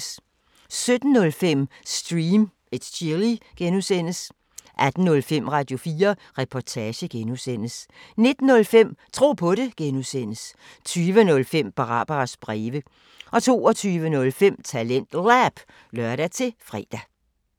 17:05: Stream & Chill (G) 18:05: Radio4 Reportage (G) 19:05: Tro på det (G) 20:05: Barbaras breve 22:05: TalentLab (lør-fre)